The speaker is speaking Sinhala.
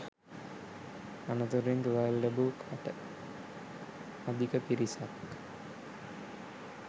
අනතුරින් තුවාල ලැබූ කට අධික පිරිසක්